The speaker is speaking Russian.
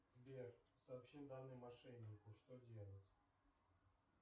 сбер сообщил данные мошеннику что делать